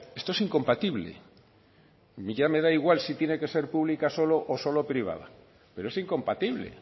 esto es incompatible y ya me da igual si tiene que ser pública solo o solo privada pero es incompatible